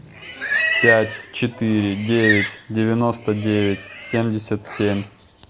пять четыре девять девяносто девять семьдесят семь